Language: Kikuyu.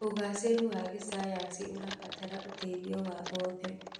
ũgacĩru wa gĩcayanci ũrabatara ũteithio wa oothe.